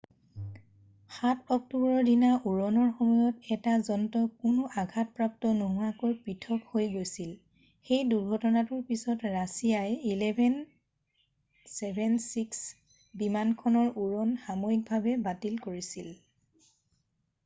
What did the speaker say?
7 অক্টোবৰৰ দিনা উৰণৰ সময়ত এটা যন্ত্ৰ কোনো আঘাতপ্ৰাপ্ত নোহোৱাকৈ পৃথক হৈ গৈছিল সেই দুৰ্ঘটনাটোৰ পিছত ৰাছিয়াই il-76s বিমানখনৰ উৰণ সাময়িকভাৱে বাতিল কৰিছিল